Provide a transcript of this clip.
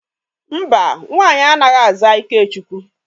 Mba, nwaanyị anaghi aza Ikechukwu.